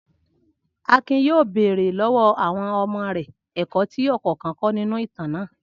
Akin yóò bèrè lọ́wọ́ àwọn ọmọ rẹ ẹ̀kọ́ tí ọ̀kọ̀ọ̀kan kọ́ nínú ìtàn náà.